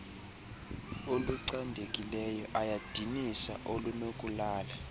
olucandekileyo ayadinisa olunokulala